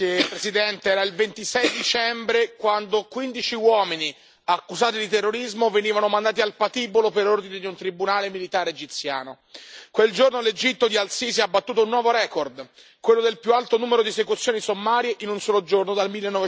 Signora Presidente, onorevoli colleghi, era il 26 dicembre 2017 quando quindici uomini accusati di terrorismo venivano mandati al patibolo per ordine di un tribunale militare egiziano. Quel giorno l'Egitto di El Sisi ha battuto un nuovo record, quello del più alto numero di esecuzioni sommarie in un solo giorno dal